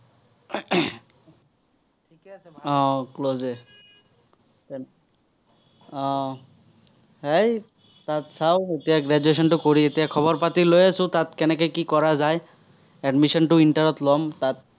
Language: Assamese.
আহ হেই তাত চাঁও, এতিয়া graduation টো কৰি এতিয়া খবৰ-পাতি লৈ আছো, তাত কেনেকে কি কৰা যায়। admission টো inter ত ল'ম, তাত।